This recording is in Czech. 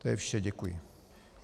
To je vše, děkuji.